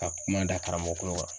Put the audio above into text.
Ka kuma da karamɔgɔ kulo kan.